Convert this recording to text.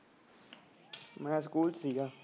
ਮੈਂ ਸਕੂਲ ਚ ਸੀਗਾ।